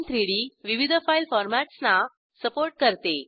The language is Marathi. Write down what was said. gchem3डी विविध फाईल फॉरमॅट्सना सपोर्ट करते